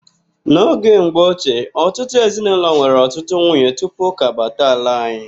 N'oge mgbochie, ọtụtụ ezinaụlọ nwere ọtụtụ nwunye tupu ụka abata ala anyị.